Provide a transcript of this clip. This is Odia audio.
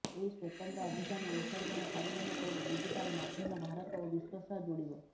ଏହି ସ୍ବତନ୍ତ୍ର ଅଭିଯାନ ଅଂଶଗ୍ରହଣକାରୀମାନଙ୍କୁ ଡିଜିଟାଲ୍ ମାଧ୍ୟମ ଭାରତ ଓ ବିଶ୍ବ ସହ ଯୋଡ଼ିବ